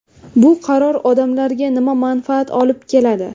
Bu qaror odamlarga nima manfaat olib keladi.